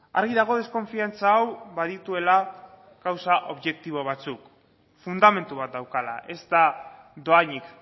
argi dago deskonfiantza hau badituela gauza objektibo batzuk fundamentu bat daukala ez da dohainik